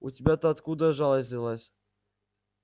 у тебя-то откуда жалость взялась